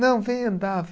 Não, vem andar.